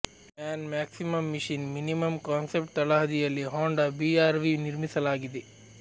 man maximum machine minimum concept ತಳಹದಿಯಲ್ಲಿ Honda BR V ನಿರ್ಮಿಸಲಾಗಿದೆ